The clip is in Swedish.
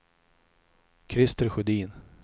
Christer Sjödin